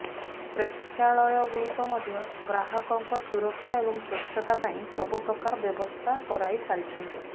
ପ୍ରେକ୍ଷାଳୟଗୁଡ଼ିକ ମଧ୍ୟ ଗ୍ରହକଙ୍କ ସୁରକ୍ଷା ଏବଂ ସ୍ୱଚ୍ଛତା ପାଇଁ ସବୁ ପ୍ରକାର ବ୍ୟବସ୍ଥା କରାଇ ସାରିଛନ୍ତି